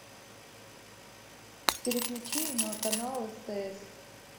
переключи на канал стс